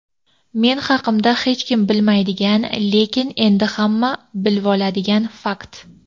Men haqimda hechkim bilmaydigan lekin endi hamma bilvoladigan fakt:.